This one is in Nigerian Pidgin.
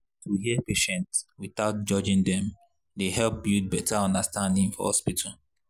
to hear patient without judging dem dey help build better understanding for hospital.